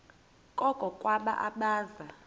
koko ngabo abaza